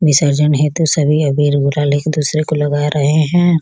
विसर्जन हेतु सभी अबीर-गुलाल एक दूसरे को लगा रहे हैं।